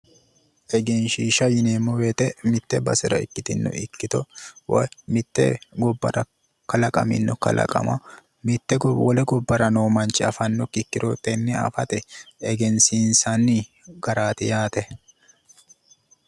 Egenshiishsha yineemmo woyite mitte basera ikkitino ikkito woy mitte gobbara qalaqamino kalaqama wole gobbara noo manchi afannokkiha ikkiro tenne afate egensiisanni garaati yaate.